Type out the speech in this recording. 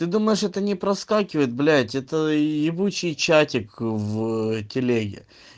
ты думаешь это не проскакивает блять это ебучей чатик в телеге